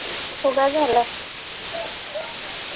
फुगा झालाय